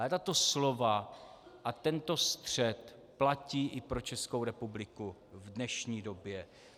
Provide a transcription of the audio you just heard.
Ale tato slova a tento střet platí i pro Českou republiku v dnešní době.